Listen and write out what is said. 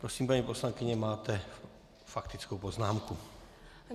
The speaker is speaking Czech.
Prosím, paní poslankyně, máte faktickou poznámku.